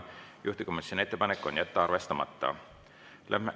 Juhtivkomisjoni ettepanek on jätta arvestamata.